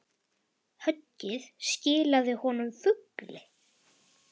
Höggið skilaði honum fugli.